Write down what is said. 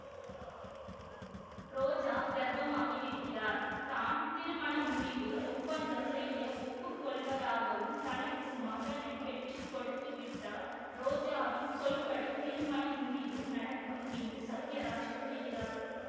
ரோஜா கர்ப்பமாகிவிடுகிறார் தான் திருமணமுறிவு ஒப்பந்தம் செய்ய ஒப்பு கொள்வதாகவும் தனக்கு மகனை பெற்று கொடுத்துவிட்டால் ரோஜாவின் சொல்படி திருமணமுறிவு நடக்கும் என்று சத்தியராஜ் கூறுகிறார்